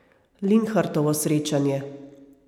Linhartovo srečanje.